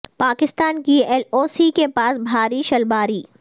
پاکستان کی L O C کے پاس بھاری شلباری